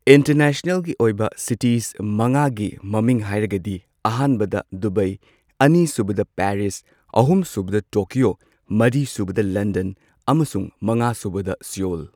ꯏꯟꯇꯔꯅꯦꯁꯅꯦꯜꯒꯤ ꯑꯣꯏꯕ ꯁꯤꯇꯤꯁ ꯃꯉꯥꯒꯤ ꯃꯃꯤꯡ ꯍꯥꯏꯔꯒꯗꯤ ꯑꯍꯥꯟꯕꯗ ꯗꯨꯕꯥꯏ ꯑꯅꯤꯁꯨꯕꯗ ꯄꯦꯔꯤꯁ ꯑꯍꯨꯝꯁꯨꯕꯗ ꯇꯣꯀ꯭ꯌꯣ ꯃꯔꯤꯁꯨꯕꯗ ꯂꯟꯗꯟ ꯑꯃꯁꯨꯡ ꯃꯉꯥꯁꯨꯕꯗ ꯁꯤꯌꯣꯜ